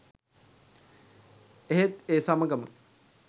එහෙත් ඒ සමගම